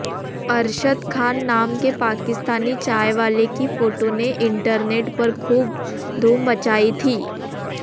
अरशद खान नाम के पाकिस्तानी चायवाले की फोटो ने इंटरनेट पर खूब धूम मचाई थी